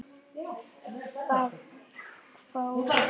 hváði mamma.